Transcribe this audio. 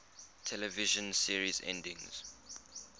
television series endings